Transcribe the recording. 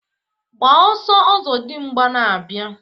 Gbaa ọsọọ! Ọzọdimgba na-abịa